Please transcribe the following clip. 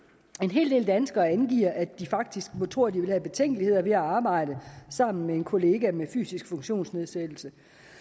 hel del danskere angiver at de faktisk tror at de vil have betænkeligheder ved at arbejde sammen med en kollega med fysisk funktionsnedsættelse